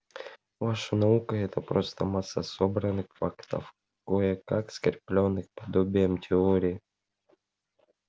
ваша наука-это просто масса собранных фактов кое-как скреплённых подобием теории